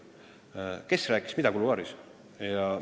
Aga kes rääkis mida kuluaarides?